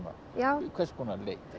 já hvers konar